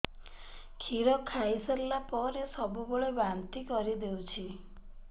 କ୍ଷୀର ଖାଇସାରିଲା ପରେ ସବୁବେଳେ ବାନ୍ତି କରିଦେଉଛି